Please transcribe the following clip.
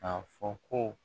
K'a fɔ ko